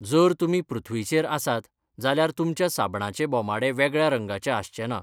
जर तुमी पृथ्वीचेर आसात जाल्यार तुमच्या साबणाचे बोमाडे वेगळ्या रंगाचे आसचे ना.